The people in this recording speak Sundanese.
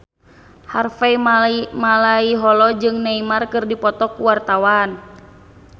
Harvey Malaiholo jeung Neymar keur dipoto ku wartawan